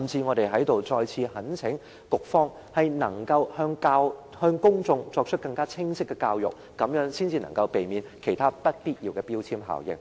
我在這裏再次懇請局方向公眾作出更清晰的教育，這樣才能避免其他不必要的標籤效應。